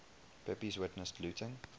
pepys witnessed looting